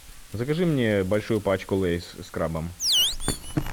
закажи мне большую пачку лейс с крабом